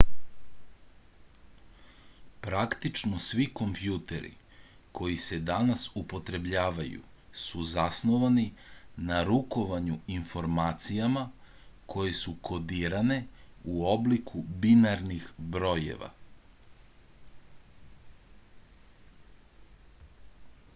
praktično svi kompjuteri koji se danas upotrebljavaju su zasnovani na rukovanju informacijama koje su kodirane u obliku binarnih brojeva